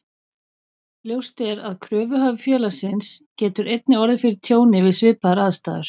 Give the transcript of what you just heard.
Ljóst er að kröfuhafi félagsins getur einnig orðið fyrir tjóni við svipaðar aðstæður.